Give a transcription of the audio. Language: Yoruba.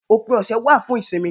Òpin ọ̀sẹ̀ wà fún ìsinmi